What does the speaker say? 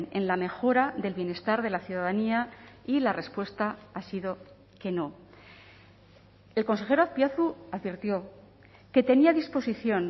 en la mejora del bienestar de la ciudadanía y la respuesta ha sido que no el consejero azpiazu advirtió que tenía disposición